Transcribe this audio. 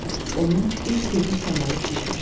Onun üz-gözü saralıb şişmişdi.